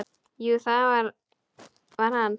Jú, það var hann!